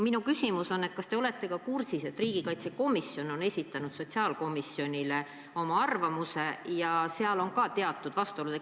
Minu küsimus on, et kas te olete kursis, et riigikaitsekomisjon on esitanud sotsiaalkomisjonile oma arvamuse ja seal on ka teatud vastuolud.